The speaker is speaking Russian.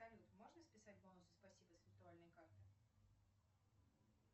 салют можно списать бонусы спасибо с виртуальной карты